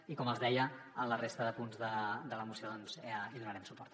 i com els deia en la resta de punts de la moció hi donarem suport